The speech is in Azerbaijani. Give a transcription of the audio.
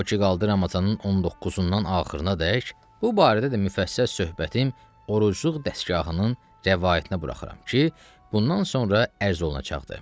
O ki qaldı Ramazanının 19-undan axırınadək, bu barədə də müfəssəl söhbətim orucluq dəstgahının rəvayətinə buraxıram ki, bundan sonra ərz olacaqdır.